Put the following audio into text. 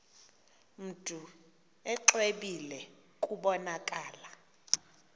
mntu exwebile kubonakala